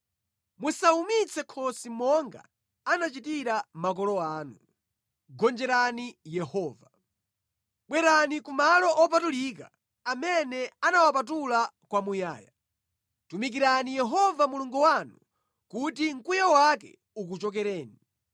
Musawumitse khosi monga anachitira makolo anu, Gonjerani Yehova. Bwerani ku malo opatulika, amene anawapatula kwamuyaya. Tumikirani Yehova Mulungu wanu kuti mkwiyo wake ukuchokereni.